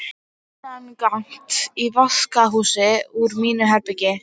Innangengt í vaskahús úr mínu herbergi.